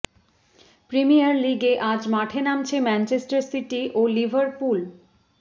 premier লিগে আজ মাঠে নামছে ম্যানচেস্টার সিটি ও লিভারপুল